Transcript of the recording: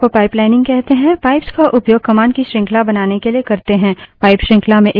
pipe श्रृंखला में एक command के output को दूसरी command के input से जोड़ता है